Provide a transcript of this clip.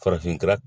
Farafinna